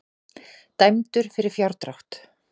Dæmdur fyrir fjárdrátt